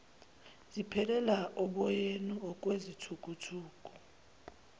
ziphelela oboyeni okwezithukuthuku